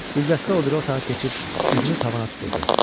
Güldəstə o biri otağa keçib üzünü tavana tuturdu.